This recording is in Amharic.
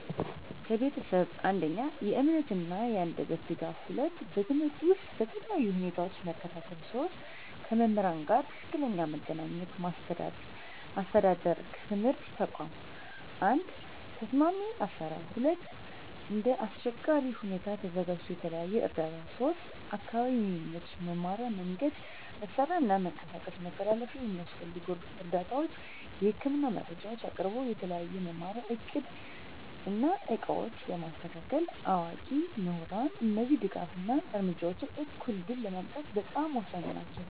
ከቤተሰብ፦ 1. የእምነት እና የአንደበት ድጋፍ 2. በትምህርት ውስጥ በተለያዩ ሁኔታዎች መከታተል 3. ከመምህራን ጋር ትክክለኛ መገናኘት ማስተዳደር ከትምህርት ተቋም፦ 1. ተስማሚ አሰራር 2. እንደ አስቸጋሪ ሁኔታ ተዘጋጅቶ የተለየ እርዳታ 3. አካባቢ የሚመች መማሪያ መንገድ፣ መሳሪያ እና መንቀሳቀስ መተላለፊያ የሚያስፈልጉ እርምጃዎች፦ የህክምና መረጃ አቅርቦት፣ የተለየ መማሪያ እቅድ እና ዕቃዎች በማስተካከል፣ አዋቂ ምሁራን እነዚህ ድጋፍ እና እርምጃዎች እኩል ዕድል ለማምጣት በጣም ወሳኝ ናቸው።